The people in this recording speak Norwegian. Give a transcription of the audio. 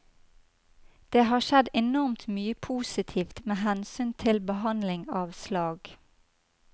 Det har skjedd enormt mye positivt med hensyn til behandling av slag.